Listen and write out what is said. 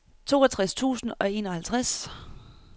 toogtres tusind og enoghalvtreds